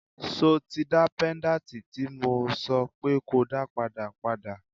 So tí dá péńdàtì tí mo sọ pé ko dá padà, padà?